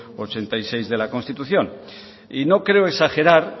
ochenta y seis de la constitución y no creo exagerar